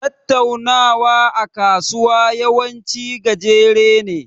Tattaunawa a kasuwa yawanci gajere ne.